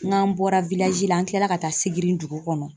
N'an bɔra la an kilara ka taa Sigiri dugu kɔnɔ.